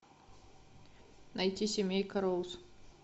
найти семейка роуз